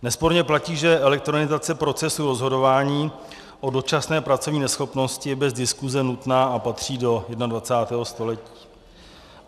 Nesporně platí, že elektronizace procesu rozhodování o dočasné pracovní neschopnosti je bez diskuse nutná a patří do 21. století.